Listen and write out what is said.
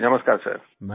जी नमस्कार सर